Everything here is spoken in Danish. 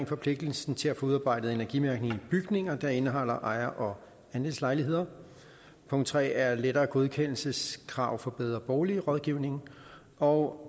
forpligtelsen til at få udarbejdet energimærkning i bygninger der indeholder ejer og andelslejligheder punkt tre er nemmere godkendelseskrav for bedre bolig rådgivning og